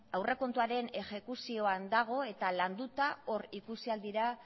aurrekontuaren ejekuzioan dago eta landuta hor ikusi ahal dira